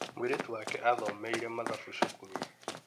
Mĩirĩtu wake athomeire mathabu cukuru.